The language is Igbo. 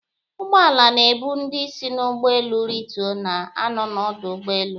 Ụgbọala na-ebu ndị si n'ụgbọelu ritu, na-anọ n'ọdụ ụgbọelu